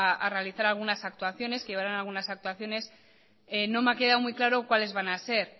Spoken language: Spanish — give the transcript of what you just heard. a realizar algunas actuaciones que llevarán algunas actuaciones no me ha quedado muy claro cuáles van a ser